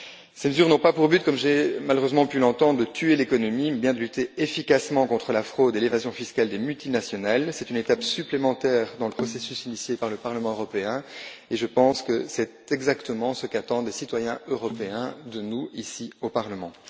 Ces mesures n'ont pas pour but, comme j'ai malheureusement pu l'entendre, de tuer l'économie, mais bien de lutter efficacement contre la fraude et l'évasion fiscales des multinationales. Il s'agit d'une étape supplémentaire dans le processus initié par le Parlement européen, et je pense que c'est exactement ce qu'attendent les citoyens européens de nous ici au Parlement.